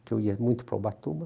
porque eu ia muito para Ubatuba.